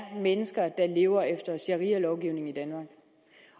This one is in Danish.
mennesker der lever efter sharialovgivningen i danmark